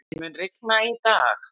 Gurrí, mun rigna í dag?